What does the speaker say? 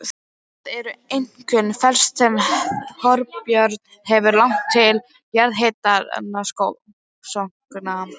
Það er einkum fernt sem Þorbjörn hefur lagt til jarðhitarannsókna.